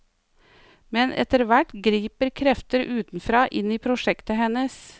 Men etter hvert griper krefter utenfra inn i prosjektet hennes.